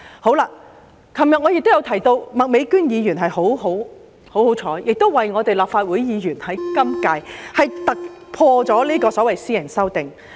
我昨天提到麥美娟議員很幸運，政府讓今屆立法會議員突破地提出了私人條例草案。